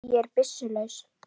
Ég er byssu laus.